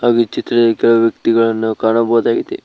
ಹಾಗು ಚಿತ್ರದಲ್ಲಿ ಕೆಲವು ವ್ಯಕ್ತಿಗಳನ್ನು ಕಾಣಬಹುದಾಗಿದೆ.